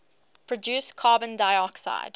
produce carbon dioxide